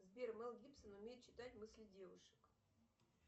сбер мел гибсон умеет читать мысли девушек